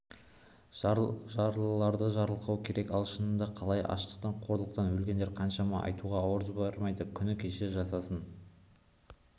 жарлыларды жарылқауы керек ал шындығында қалай аштықтан қорлықтан өлгендер қаншама айтуға ауыз бармайды күні кеше жасасын